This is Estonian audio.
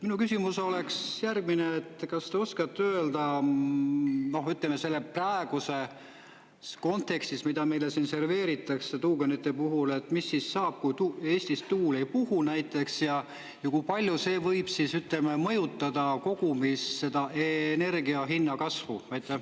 Minu küsimus oleks järgmine, et kas te oskate öelda, ütleme, selle praeguse, selles kontekstis, mida meile serveeritakse tuuganite puhul, et mis siis saab, kui Eestis tuul ei puhu näiteks, ja kui palju see võib mõjutada kogumis seda energia hinna kasvu?